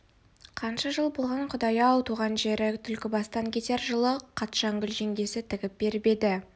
қанша жыл болған құдай-ау туған жері түлкібастан кетер жылы қатшагүл жеңгесі тігіп беріп еді